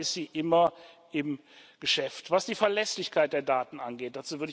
Insoweit ist sie immer im Geschäft, was die Verlässlichkeit der Daten angeht.